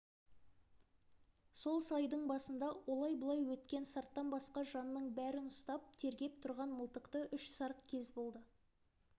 сол сайдың басында олай-бұлай өткен сарттан басқа жанның бәрін ұстап тергеп тұрған мылтықты үш сарт кез болды